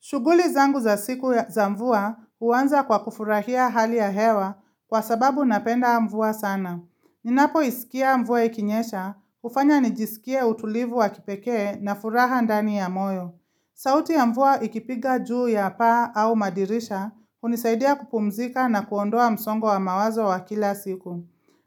Shughuli zangu za siku za mvua huanza kwa kufurahia hali ya hewa kwa sababu napenda mvua sana. Ninapoisikia mvua ikinyesha hufanya nijisikie utulivu wa kipekee na furaha ndani ya moyo. Sauti ya mvua ikipiga juu ya paa au madirisha hunisaidia kupumuzika na kuondoa msongo wa mawazo wa kila siku.